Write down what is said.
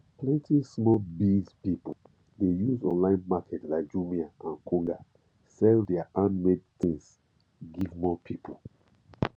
plenty small biz pipu dey use online market like jumia and konga sell their handmade tins give more people